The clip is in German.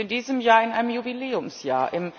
Wir befinden uns in diesem Jahr in einem Jubiläumsjahr.